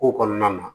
Ko kɔnɔna na